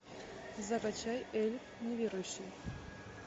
закачай эльф неверующий